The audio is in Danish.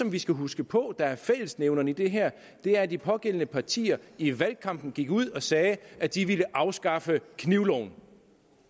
vi skal huske på er fællesnævner i det her er at de pågældende partier i valgkampen gik ud og sagde at de ville afskaffe knivloven